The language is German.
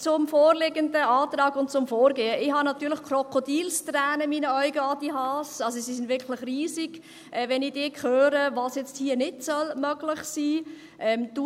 Zum vorliegenden Antrag und zum Vorgehen: Ich habe natürlich Krokodilstränen in meinen Augen – sie sind wirklich riesig –, Adrian Haas, wenn ich dich höre, was jetzt hier nicht möglich sein soll.